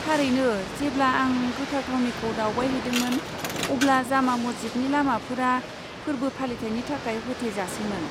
थारैनो, जेब्ला आं गोथार थावनिखौ दावबायहैदोंमोन, अब्ला जामा मस्जिदनि लामाफोरा फोर्बो फालिथायनि थाखाय होथेजासैमोन।